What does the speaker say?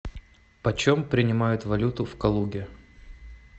почем принимают валюту в калуге